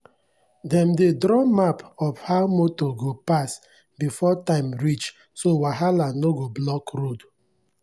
dem dey draw map of how motor go pass before time reach so wahala no go block road.